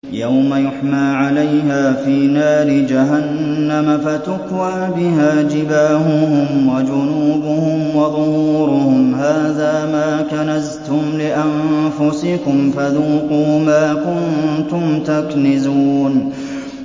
يَوْمَ يُحْمَىٰ عَلَيْهَا فِي نَارِ جَهَنَّمَ فَتُكْوَىٰ بِهَا جِبَاهُهُمْ وَجُنُوبُهُمْ وَظُهُورُهُمْ ۖ هَٰذَا مَا كَنَزْتُمْ لِأَنفُسِكُمْ فَذُوقُوا مَا كُنتُمْ تَكْنِزُونَ